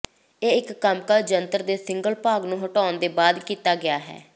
ਇਹ ਇੱਕ ਕੰਮਕਾਜ ਜੰਤਰ ਦੀ ਸਿੰਗਲ ਭਾਗ ਨੂੰ ਹਟਾਉਣ ਦੇ ਬਾਅਦ ਕੀਤਾ ਗਿਆ ਹੈ